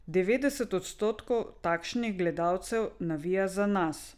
Devetdeset odstotkov takšnih gledalcev navija za nas.